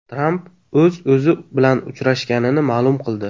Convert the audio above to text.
Tramp o‘z-o‘zi bilan uchrashganini ma’lum qildi.